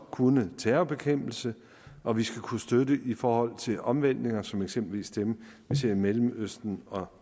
kunne terrorbekæmpelse og vi skal kunne støtte i forhold til omvæltninger som eksempelvis dem vi ser i mellemøsten og